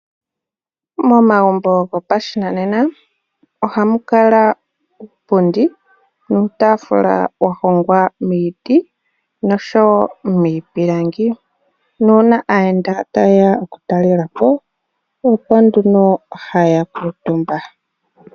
Momagumbo gopashinanena oha mu kala uupundi nuutafula wa hogwa miiti noshowo miipilangi. Nuna aayenda ta yeya okutalele po, opo nduno haya kutumba.